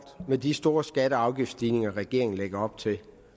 med de store skatte og afgiftsstigninger regeringen lægger op til